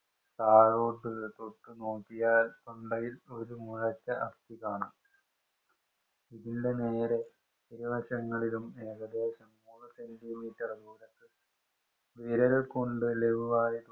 താഴോട്ട് തൊട്ടുനോക്കിയാല്‍ തൊണ്ടയില്‍ ഒരു മുഴച്ച അസ്ഥി കാണാം. ഇതിന്‍റെ നേരെ ഇരുവശങ്ങളിലും ഏകദേശം മൂന്ന് സെന്‍റീമീറ്റര്‍ നീളത്തില്‍ വിരല്‍ കൊണ്ട് ലഘുവായി